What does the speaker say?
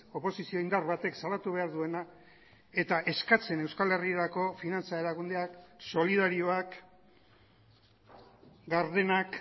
oposizio indar batek salatu behar duena eta eskatzen euskal herrirako finantza erakundeak solidarioak gardenak